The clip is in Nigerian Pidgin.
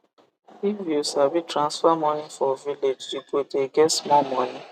if u sabi transfer moni for village u go de get small moni